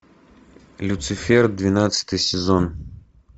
люцифер двенадцатый сезон